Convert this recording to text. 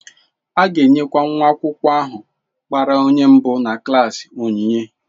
A ga-enyekwa nwa akwụkwọ ahụ gbara onye mbụ na klaasị onyinye.